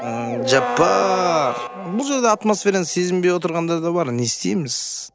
жаппар бұл жерде атмосфераны сезінбей отырғандар да бар не істейміз